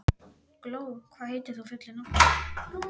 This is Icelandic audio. Gló, hvað heitir þú fullu nafni?